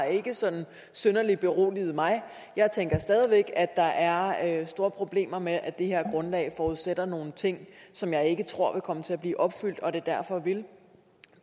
ikke sådan synderlig har beroliget mig jeg tænker stadig væk at der er store problemer med at det her grundlag forudsætter nogle ting som jeg ikke tror vil komme til at blive opfyldt og at det derfor vil